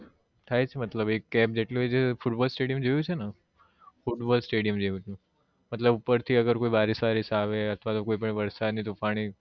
ભાઈ મતલબ ઉપર થી એક મતલબ થાય છે મતલબ એક cab જેટલું હોય ફૂટબોલ stadium જોયું છે ને ફ્રૂટબોલ stadium જેવું છે મતલબ ઉપર થી અગર કોઈ બારીશ વારીશ આવે અથવા તો કોઈ પણ વરસાદ નું પાણી